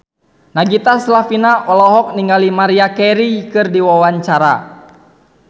Nagita Slavina olohok ningali Maria Carey keur diwawancara